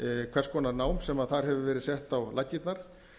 hvers konar nám sem þar hefur verið sett á laggirnar